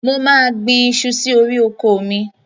Mo máa gbin iṣu sí orí oko mi.